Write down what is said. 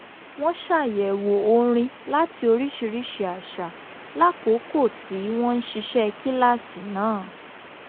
wọ́n ṣàyẹ̀wò orin láti oríṣiríṣi àṣà lákòókò tí wọ́n ń ṣiṣẹ́ kíláàsì náà